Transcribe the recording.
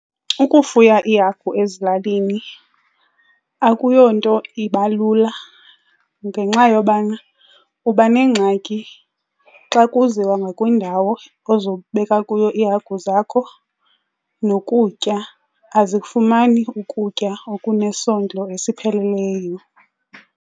Ukufuya iihagu ezilalini akuyonto iba lula ngenxa yobana uba neengxaki xa kuziwa ngakwindawo ozobeka kuyo iihagu zakho nokutya. Azikufumani ukutya okunesondlo esipheleleyo.